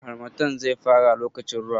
Harmattan zai fara lokacin ruwa.